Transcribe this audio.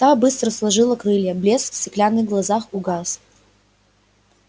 та быстро сложила крылья блеск в стеклянных глазах угас